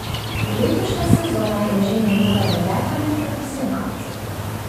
Letošnja sezona je že njegova deveta med profesionalci.